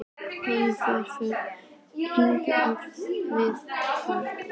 Höfðu þær verið færðar hingað með valdi?